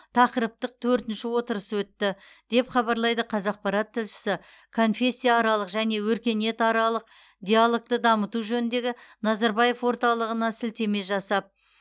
тақырыптық төртінші отырысы өтті деп хабарлайды қазақпарат тілшісі конфессияаралық және өркениетаралық диалогты дамыту жөніндегі назарбаев орталығына сілтеме жасап